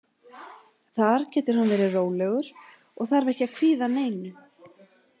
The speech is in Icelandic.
Þar getur hann verið rólegur og þarf ekki að kvíða neinu.